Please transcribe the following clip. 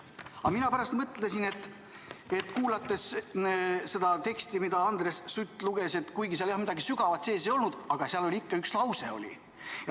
Aga mina pärast mõtlesin, et kuulates seda teksti, mida Andres Sutt luges, ja kuigi seal midagi sügavat sees ei olnud, siis üks lause seal ikkagi oli.